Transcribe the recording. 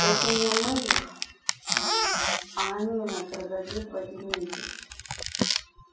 это не мы их а они нас разобьют в один месяц